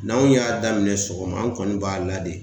N'anw y'a daminɛ sɔgɔma an kɔni b'a la de